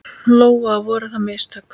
Lóa: Voru það mistök?